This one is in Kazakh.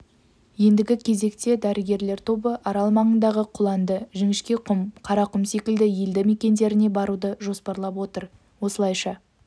ендігі кезекте дәрігерлер тобы арал маңындағы құланды жіңішкеқұм қарақұм секілді елді мекендеріне баруды жоспарлап отыр осылайша